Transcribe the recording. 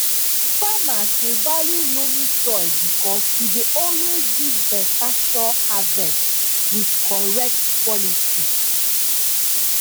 farmers dey value loamy soil because e dey always give beta sure harvest with correct quality